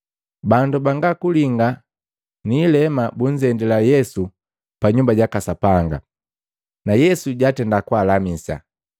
Bandu banga kulinga na niilema bunzendila Yesu pa Nyumba jaka Sapanga, na Yesu jwatenda kwaalamisa.